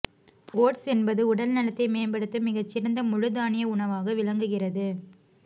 oats என்பது உடல் நலத்தை மேம்படுத்தும் மிகச்சிறந்த முழு தானிய உணவாக விளங்குகிறது